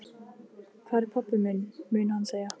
Hvar er pabbi minn? mun hann segja.